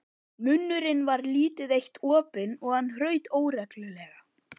Munnurinn var lítið eitt opinn og hann hraut óreglulega.